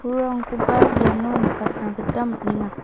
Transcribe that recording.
pulrangkoba iano nikatna gita man·enga.